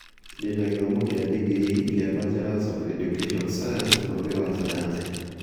Ndĩna gĩthomo kĩa digrii [kĩa Bachelors of Education science]ũgĩ wa sayansi